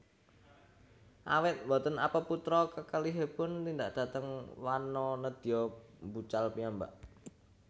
Awit boten apeputra kakalihipun tindak dhateng wana nédya mbucal piyambak